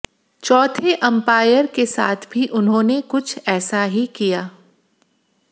चौथे अंपायर के साथ भी उन्होंने कुछ ऐसा ही किया